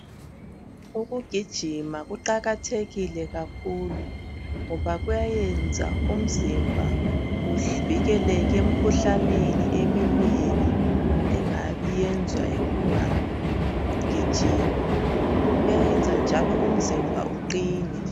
Ukugijima kuyanceda kakhulu ngoba kuyayenza umzimba uvikeleke emkhuhlaneni eminengi engabe iyenzwa yikungagijimi iyayenza njalo umzimba uqine